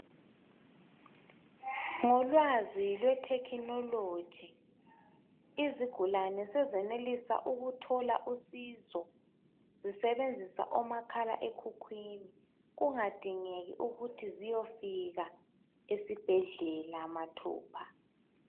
Ngolwazi lweTecnology izigulane sezenelisa ukuthola usizo zisebenzisa umakhala ekhukhwini kungadingeki ukuthi ziyefika esibhedlela mathupha